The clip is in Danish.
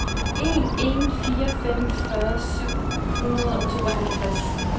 en en fire fem fyrre syv hundrede og tooghalvtreds